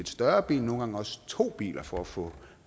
større bil nogle gange også to biler for at få